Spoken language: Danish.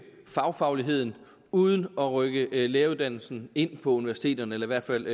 fagfagligheden uden at rykke læreruddannelsen ind på universiteterne eller i hvert fald